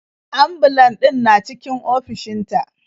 Ambulan ɗin na cikin ofishin ta.